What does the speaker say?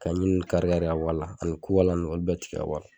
Ka ɲi nun kari kari ka bɔ a la ani kukala nun olu bɛ tigɛ